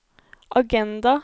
agenda